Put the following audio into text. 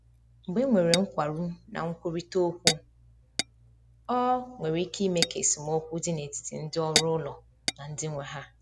Mgbe e nwere nkwarụ na nkwurịta okwu, ọ nwere ike ime ka esemokwu dị n’etiti ndị ọrụ ụlọ na ndị nwe ha.